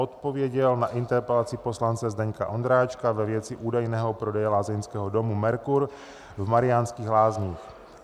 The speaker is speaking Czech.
Odpověděl na interpelaci poslance Zdeňka Ondráčka ve věci údajného prodeje lázeňského domu Mercur v Mariánských Lázních.